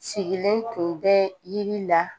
Sigilen tun bɛ yiri la